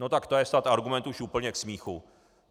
No tak to je snad argument už úplně k smíchu.